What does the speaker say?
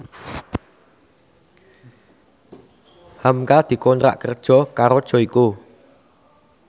hamka dikontrak kerja karo Joyko